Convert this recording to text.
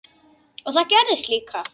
Og það gerðist líka.